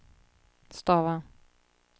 stava